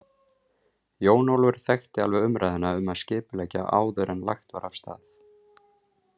Jón Ólafur þekkti alveg umræðuna um að skipuleggja áður en lagt var af stað.